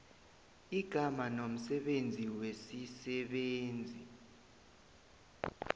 igama nomsebenzi wesisebenzi